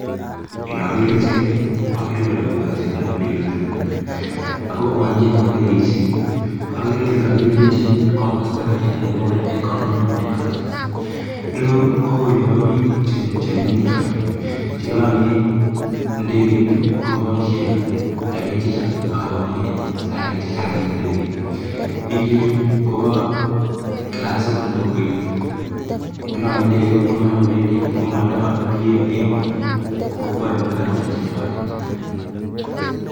Inoger pichaini agere kole kiwanjet nepo ndegeit inoni, ago uwanjet nepo ndegeisiek agere kole kagipir picha komosto age nekipore economic departures, ireu ko olepo piik chenyumnyum sopet, chelonye ndegeit komopoisien rapinik chechang' agomomoe staree chechang' en ndegeit, piik ichechu kopo klasit nepo kwenet kilonye ndegeit ko mara kopendi komondo pii en emoni kopokwoe mung'arosiek chechwaget.